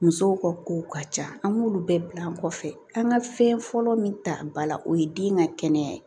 Musow ka kow ka ca an b'olu bɛɛ bila kɔfɛ an ka fɛn fɔlɔ min ta ba la o ye den ka kɛnɛya ye